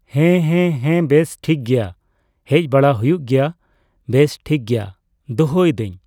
ᱦᱮᱸ ᱦᱮᱸ ᱦᱮᱸ ᱵᱮᱥ ᱴᱷᱤᱠᱜᱮᱭᱟ ᱦᱮᱡᱵᱟᱲᱟ ᱦᱩᱭᱩᱜ ᱜᱮᱭᱟ ᱵᱮᱥᱴᱷᱤᱠᱜᱮᱭᱟ ᱫᱷᱚᱦᱚᱭᱫᱟᱹᱧ ᱾